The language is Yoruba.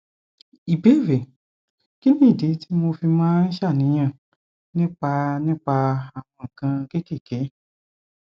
ìbéèrè kí nìdí tí mo fi máa ń ṣàníyàn nípa nípa àwọn nǹkan kéékèèké